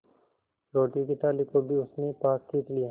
रोटियों की थाली को भी उसने पास खींच लिया